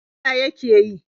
Waya yake yi?